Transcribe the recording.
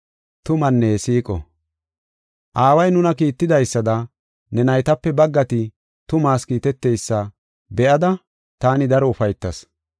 Aaway nuna kiittidaysada, ne naytape baggati, tumaas kiiteteysa be7ada taani daro ufaytas.